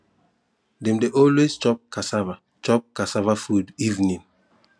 dem de always chop cassava chop cassava food evening